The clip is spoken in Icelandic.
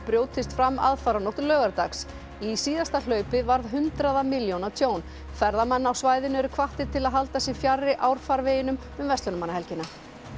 brjótist fram aðfaranótt laugardags í síðasta hlaupi varð hundraða milljóna tjón ferðamenn á svæðinu eru hvattir til að halda sig fjarri árfarveginum um verslunarmannahelgina